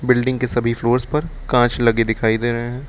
Building के सभी floors पर कांच लगे दिखाई दे रहे हैं।